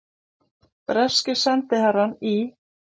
Breski sendiherrann í